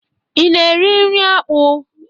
Ị na-eri nri akpụ?